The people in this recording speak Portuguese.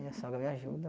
Minha sogra me ajuda.